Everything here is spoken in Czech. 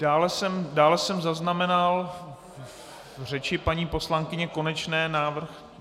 Dále jsem zaznamenal v řeči paní poslankyně Konečné návrh...